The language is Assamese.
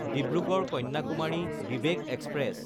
ডিব্ৰুগড়–কন্যাকুমাৰী ভিভেক এক্সপ্ৰেছ